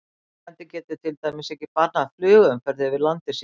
Landeigandi getur til dæmis ekki bannað flugumferð yfir landi sínu.